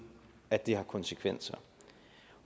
at det har konsekvenser